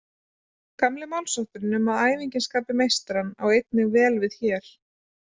Gamli málshátturinn um að æfingin skapi meistarann á einnig vel við hér.